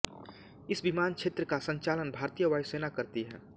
इस विमानक्षेत्र का संचालन भारतीय वायुसेना करती है